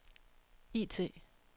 IT